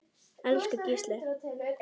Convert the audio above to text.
Elsku Gísli.